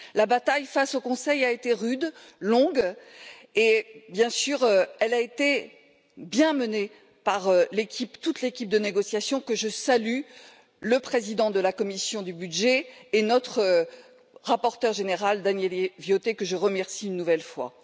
La bataille face au Conseil a été rude, longue et, bien sûr, elle a été bien menée par toute l'équipe de négociation que je salue, le président de la commission des budgets et notre rapporteur général Daniele Viotti, que je remercie une nouvelle fois.